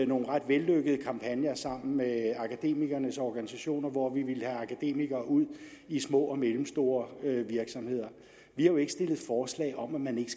nogle ret vellykkede kampagner sammen med akademikernes organisationer hvor vi ville have akademikere ud i små og mellemstore virksomheder vi har jo ikke stillet forslag om at man ikke